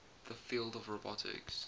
the field of robotics